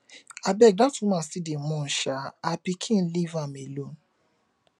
abeg dat woman still dey mourn um her pikin leave am alone